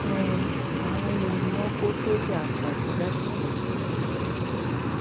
um àwọn wo ni wọn kó sọjà apààyàn jáde ganan